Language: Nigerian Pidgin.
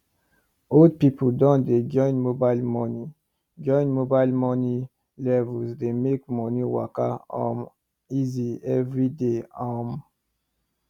old people don dey join mobile monie join mobile monie levels dey make money waka um easy every day um